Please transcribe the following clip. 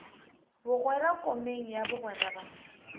bogwera komeng ya bogwera ba